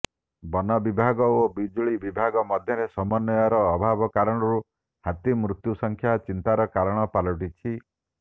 ବନ ବିଭାଗ ଓ ବିଜୁଳି ବିଭାଗ ମଧ୍ୟରେ ସମନ୍ବୟର ଅଭାବ କାରଣରୁ ହାତୀମୃତ୍ୟୁ ସଂଖ୍ୟା ଚିନ୍ତାର କାରଣ ପାଲଟିଛି